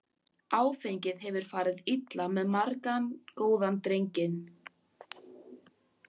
Áfengið hefur farið illa með margan góðan drenginn.